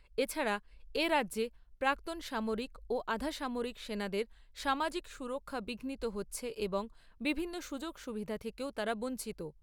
এছাড়া এ রাজ্যে প্রাক্তন সামরিক ও আধাসামরিক সেনাদের সামাজিক সুরক্ষা বিঘ্নিত হচ্ছে এবং বিভিন্ন সুযোগ সুবিধা থেকেও তারা বঞ্চিত।